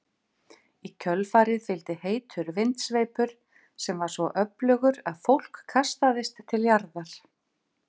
Í kjölfarið fylgdi heitur vindsveipur sem var svo öflugur að fólk kastaðist til jarðar.